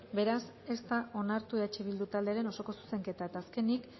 beraz ez da onartu eh bildu taldearen osoko zuzenketa eta azkenik